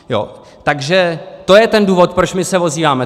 Takže to je ten důvod, proč my se ozýváme.